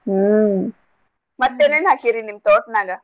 ಹ್ಮ್ ಮತ್ತೇನೆನ್ ಹಾಕಿರಿ ನಿಮ್ ತೋಟ್ನಾಗ.